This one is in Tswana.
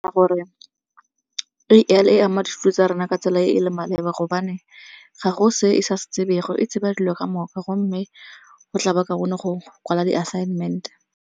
Ka gore A_I e ama dithuto tsa rona ka tsela e e leng maleba gobane ga go se e sa se tsebego e tsheba dilo kamoka gomme go tla ba kaone go kwala di-assignment.